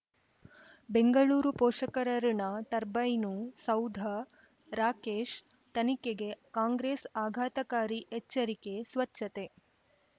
ಬೆಂಗಳೂರು ಪೋಷಕರಋಣ ಟರ್ಬೈನು ಸೌಧ ರಾಕೇಶ್ ತನಿಖೆಗೆ ಕಾಂಗ್ರೆಸ್ ಆಘಾತಕಾರಿ ಎಚ್ಚರಿಕೆ ಸ್ವಚ್ಛತೆ